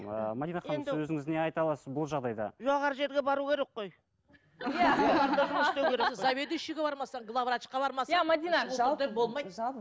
ыыы мәдина ханым енді сіз өзіңіз не айта аласыз бұл жағдайда жоғары жерге бару керек қой заведующиге бармасаң главврачка бармасаң